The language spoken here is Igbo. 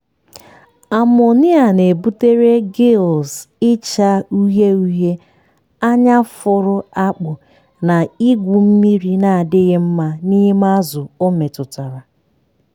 amonia na-ebutere gills ịcha uhie uhie anya fụrụ akpụ na igwu mmiri na-adịghị mma n'ime azụ o metụtara.